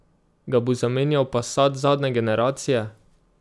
Ga bo zamenjal passat zadnje generacije?